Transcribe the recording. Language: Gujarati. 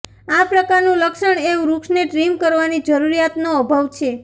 આ પ્રકારનું લક્ષણ એ વૃક્ષને ટ્રિમ કરવાની જરૂરિયાતનો અભાવ છે